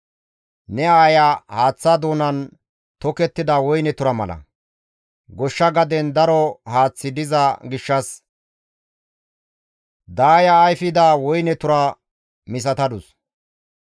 « ‹Ne aaya haaththa doonan tokettida woyne tura mala; goshsha gaden daro haaththi diza gishshas, daayida ayfida woyne tura misatadus.